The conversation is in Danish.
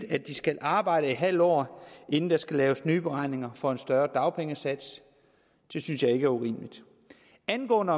at de skal arbejde i en halv år inden der skal laves nye beregninger for en større dagpengesats det synes jeg ikke er urimeligt angående